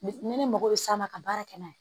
Ni ne mago bɛ se a ma ka baara kɛ n'a ye